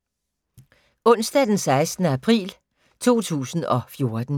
Onsdag d. 16. april 2014